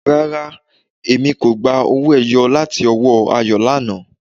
Rárá, ẹ̀mi kò gbà awọn ọwọ-ẹ̀yọ́ láti ọwọ́ Ayọ̀ lánà